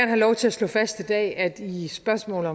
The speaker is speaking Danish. have lov til at slå fast i dag at i spørgsmålet